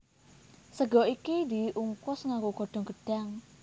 Sega iki diungkus nganggo godhong gedhang